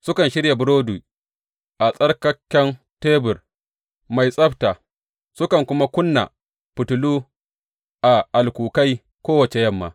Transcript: Sukan shirya burodi a tsarkaken tebur mai tsabta, sukan kuma ƙuna fitilu a alkukai kowace yamma.